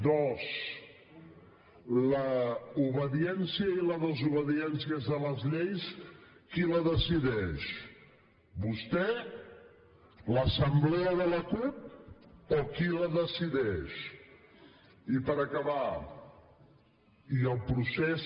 dos l’obediència i la desobediència a les lleis qui les decideix vostè l’assemblea de la cup o qui les decideix i per acabar i el procés